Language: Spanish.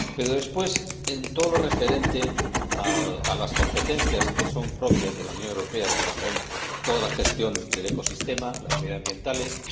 Pero, después, en todo lo referente a las competencias que son propias de la Unión Europea, como la gestión del ecosistema, las medioambientales, etc.,